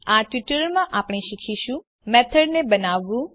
આ ટ્યુટોરીયલમાં આપણે શીખીશું મેથડ ને બનાવવું